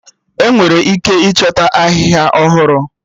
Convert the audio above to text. Enwere ike ịchọta Ahịhịa ọhụrụ